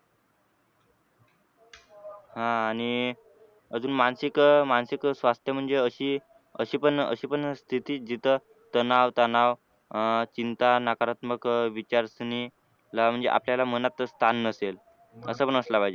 अह आणि अजून मानसिक मानसिक स्वास्थ्य म्हणजे अशी अशी पण अशी पण स्थिती जिथे तणाव तणाव अह चिंता नकारात्मक विचारसरणी आपल्याला मनात स्थान नसेल असं पण असलं पाहिजे.